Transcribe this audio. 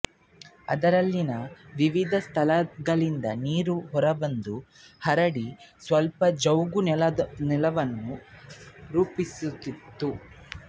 ಅದರಲ್ಲಿನ ವಿವಿಧ ಸ್ಥಳಗಳಿಂದ ನೀರು ಹೊರಬಂದು ಹರಡಿ ಸ್ವಲ್ಪ ಜವುಗುನೆಲವನ್ನು ರೂಪಿಸುತ್ತಿತ್ತು